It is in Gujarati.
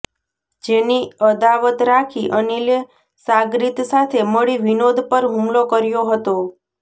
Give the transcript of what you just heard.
જેની અદાવત રાખી અનિલે સાગરીત સાથે મળી વિનોદ પર હુમલો કર્યો હતો